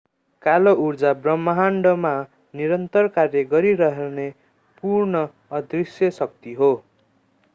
कालो ऊर्जा ब्रह्माण्डमा निरन्तर कार्य गरिरहने पूर्ण अदृश्य शक्ति हो